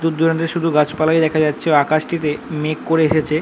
দূর দূরান্তে শুধু গাছপালাই দেখা যাচ্ছে ও আকাশটিতে মেঘ করে এসেছে ।